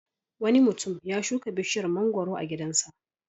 Wani mutum ya shuka bishiyar mangwaro a gidansa.